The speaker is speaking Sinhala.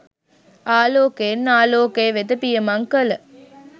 ආලෝකයෙන් ආලෝකය වෙත පියමං කළ